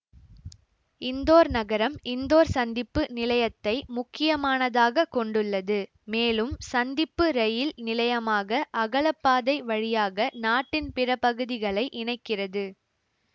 இந்தோர் நகரம் இந்தோர் சந்திப்பு நிலையத்தை முக்கியமானதாகக் கொண்டுள்ளது மேலும் சந்திப்பு இரயில் நிலையமாக அகலப்பாதை வழியாக நாட்டின் பிற பகுதிகளை இணைக்கிறது